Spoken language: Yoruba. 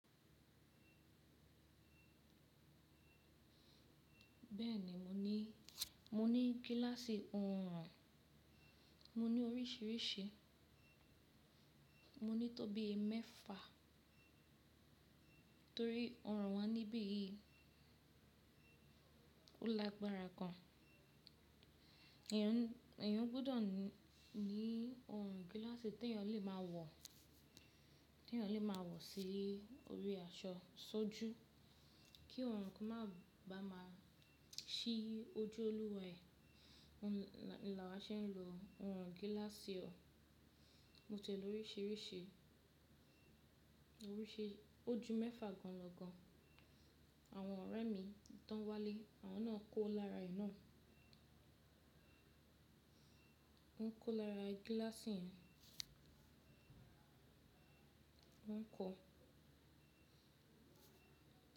Bẹ́ẹ̀ni mo ní, mo ní gíláàsì ọrùn, mo ní oríṣìíríṣìí, mo ní tó bí i mẹ́fa torí ọrùn wa níbí yìí ó lágbára gan. Èèyàn gbọ́dọ̀ ní ọrùn gíláàsì tí èèyàn lè máa wọ̀, tí èèyàn lè máa wọ̀ sí orí aṣọ sójú kí ọrùn kan máa ba máa ṣí ojú olúwa ẹ̀. Òun ni làwà ṣe ń lo ọrùn gíláàsì o. Mo tiẹ̀ l'oríṣìíríṣìí, o ju mẹ́fa gan lọ gan. Àwọn ọ̀rẹ́ mi tàn wálé, àwọn náà ń kó lára ẹ̀ náà. Wọ́n ń kó lára gíláàsì yẹn. Wọ́n ń kọ.